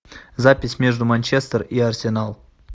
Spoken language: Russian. запись между манчестер и арсенал